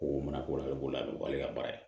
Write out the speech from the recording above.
Ko mana ko la i b'o la a bɛ wale ka baara ye